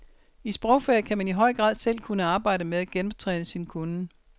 I sprogfag kan man i høj grad selv arbejde med at genoptræne sin kunnen.